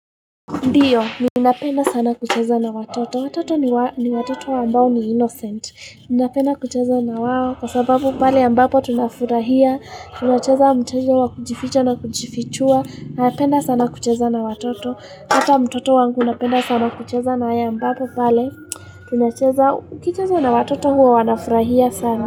Ndiyo, ninapenda sana kucheza na watoto. Watoto ni watoto ambao ni innocent. Ninapenda kucheza na wao kwa sababu pale ambapo tunafurahia. Tunacheza mtoto wa kujificha na kujifichua. Napenda sana kucheza na watoto. Hata mtoto wangu napenda sana kucheza na ye ambapo pale. Tunacheza, ukicheza na watoto huwa wanafurahia sana.